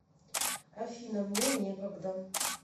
афина мне некогда